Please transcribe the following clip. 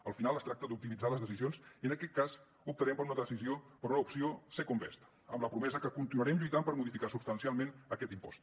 al final es tracta d’optimitzar les decisions i en aquest cas optarem per una decisió per una opció second best amb la promesa que continuarem lluitant per modificar substancialment aquest impost